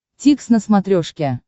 дтикс на смотрешке